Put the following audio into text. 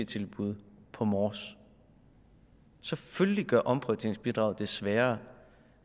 tilbud på mors selvfølgelig gør omprioriteringsbidraget det sværere